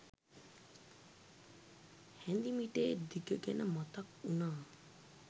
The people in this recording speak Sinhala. හැඳි මිටේ දිග ගැන මතක් වුණා